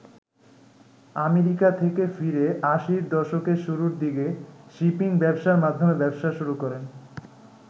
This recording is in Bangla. আমেরিকা থেকে ফিরে আশির দশকের শুরুর দিকে শিপিং ব্যবসার মাধ্যমে ব্যবসা শুরু করেন।